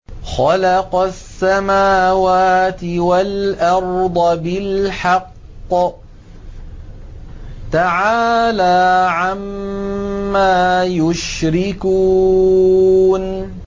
خَلَقَ السَّمَاوَاتِ وَالْأَرْضَ بِالْحَقِّ ۚ تَعَالَىٰ عَمَّا يُشْرِكُونَ